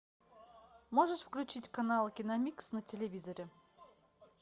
можешь включить канал киномикс на телевизоре